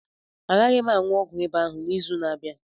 A gaghị m a ṅụọ ọgwụ ịba ahụ n'izu na-abịa.